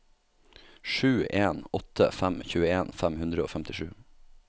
sju en åtte fem tjueen fem hundre og femtisju